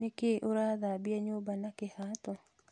Nĩkĩĩ ũrathambia nyũmba na kĩhato?